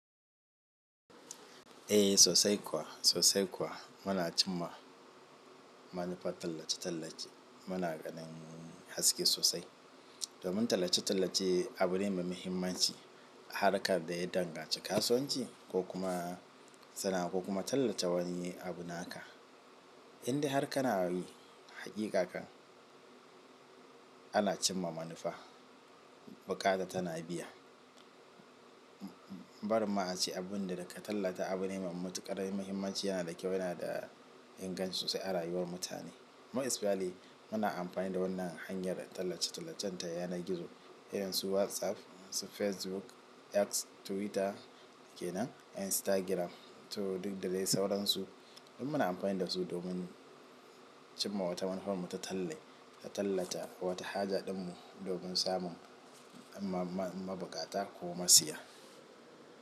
Eh sosai kuwa, sosai kuwa. Muna cimma manufar tallace-tallace. Muna kanin haske sosai. Domin tallace-tallace abune mai muhimmanci a harkar da ya danganci kasuwanci ko kuma sana'a ko kuma tallata wani abu na ka. Indai har ka na yi hakika ka, ana cimma manufa, buƙata tana biya. Barin ma a ce abun da ka tallata abu ne mai matuƙar muhimmanci yana da kyau, yana da inganci sosai a rayuwar mutane. Mu isfiyali muna amfani da wannan hanyar tallace-tallacen ta yanar gizo irin su WhatsApp, su Facebook, X, Twitter ke nan, Instagram to duk da dai sauransu. Duk muna amfani da su domin cimma wata manufan mu ta talle wata haja ɗin mu domin samun mabukata ko masiya.